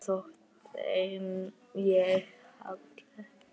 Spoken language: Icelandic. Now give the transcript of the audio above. Svo þótti þeim ég falleg.